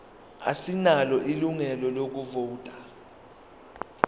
asinalo ilungelo lokuvota